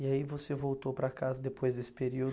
E aí você voltou para casa depois desse período?